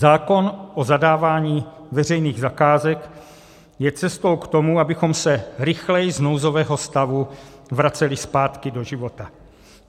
Zákon o zadávání veřejných zakázek je cestou k tomu, abychom se rychleji z nouzového stavu vraceli zpátky do života.